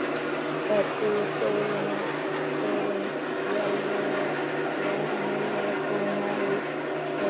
Fær sigurþjóðin í alvöru fjóra milljarða króna í verðlaunafé?